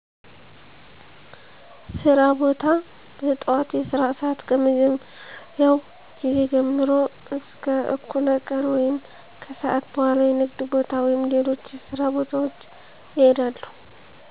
ሥራ ቦታ – በጠዋት የሥራ ሰዓት ከመጀመሪያው ጊዜ ጀምሮ እስከ እኩለ ቀን ወይም ከሰአት በኋላ የንግድ ቦታ ወይም ሌሎች የሥራ ቦታዎች እሄዳለሁ።